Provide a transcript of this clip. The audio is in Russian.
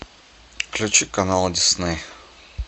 включи канал дисней